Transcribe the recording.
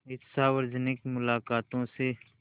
इन सार्वजनिक मुलाक़ातों से